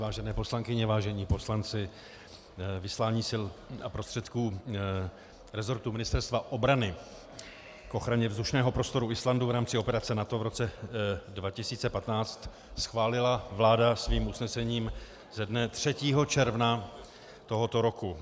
Vážené poslankyně, vážení poslanci, vyslání sil a prostředků rezortu Ministerstva obrany k ochraně vzdušného prostoru Islandu v rámci operace NATO v roce 2015 schválila vláda svým usnesením ze dne 3. června tohoto roku.